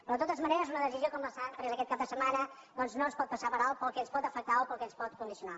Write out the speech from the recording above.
però de totes maneres una decisió com la que s’ha pres aquest cap de setmana doncs no es pot passar per alt pel que ens pot afectar o pel que ens pot condicionar